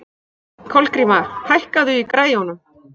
Kolgríma, hækkaðu í græjunum.